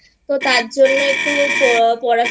তো তার জন্যই একটু পড়াশোনা